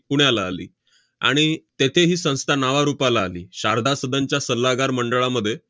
पुण्याला आली. आणि तेथे ही संस्था नावारूपाला आली. शारदा सदनच्या सल्लागार मंडळामध्ये